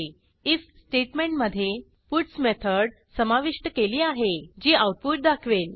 if statement मधे puts method समाविष्ट केली आहे जी आऊटपुट दाखवेल